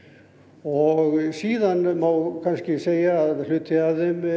og síðan má kannski segja að hluti af þeim